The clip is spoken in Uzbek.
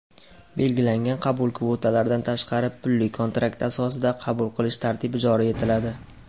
belgilangan qabul kvotalaridan tashqari pulli-kontrakt asosida qabul qilish tartibi joriy etiladi.